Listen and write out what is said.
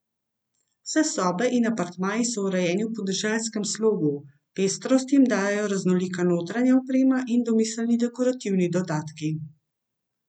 Vse sobe in apartmaji so urejeni v podeželskem slogu, pestrost jim dajejo raznolika notranja oprema in domiselni dekorativni dodatki.